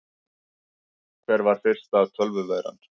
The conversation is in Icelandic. Hver var fyrsta tölvuveiran?